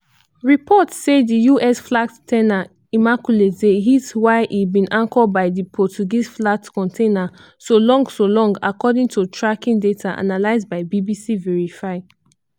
reports say di us-flagged s ten a immaculate dey hit while e bin anchor by di portuguese-flagged container solong solong according to tracking data analysed by bbc verify.